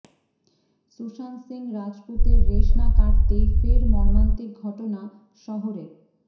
সুশান্ত সিং রাজপুতের রেশ না কাটতেই ফের মর্মান্তিক ঘটনা শহরে